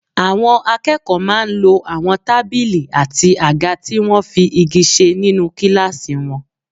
Àwọn akẹ́kọ̀ọ́ máa ń lo àwọn tábìlì àti àga tí wọ́n fi igi ṣe nínú kíláàsì wọn.